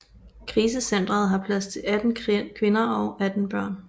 Krisecentret har plads til 18 kvinder og 18 børn